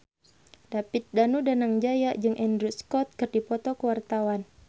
David Danu Danangjaya jeung Andrew Scott keur dipoto ku wartawan